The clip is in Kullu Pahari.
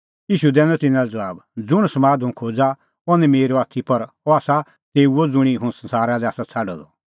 ईशू दैनअ तिन्नां लै ज़बाब ज़ुंण समाद हुंह खोज़ा अह निं मेरअ आथी पर अह आसा तेऊओ ज़ुंणी हुंह संसारा लै आसा छ़ाडअ द